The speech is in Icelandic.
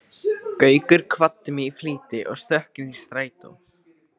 Gaukur kvaddi mig í flýti og stökk inn í strætó.